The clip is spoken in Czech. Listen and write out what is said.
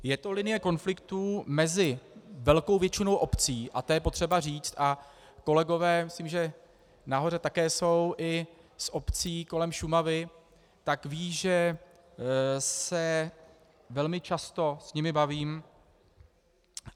Je to linie konfliktů mezi velkou většinou obcí, a to je potřeba říct, a kolegové, myslím, že nahoře také jsou i z obcí kolem Šumavy, tak vědí, že se velmi často s nimi bavím.